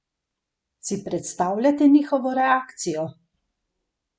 Si predstavljate njihovo reakcijo?